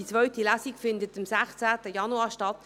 Die zweite Lesung findet am 2. Januar statt.